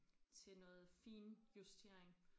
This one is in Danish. Til noget finjustering